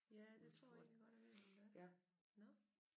Ja det tror jeg egentlig godt jeg ved hvem det er nåh